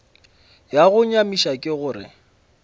ya go nyamiša ke gore